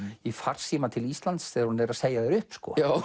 í farsíma til Íslands þegar hún er að segja þér upp